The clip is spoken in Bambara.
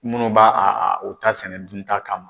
Munnu b'a u ta sɛnɛ dunta kama.